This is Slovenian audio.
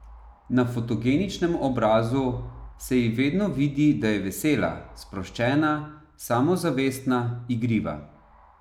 Na fotogeničnem obrazu se ji vedno vidi, da je vesela, sproščena, samozavestna, igriva.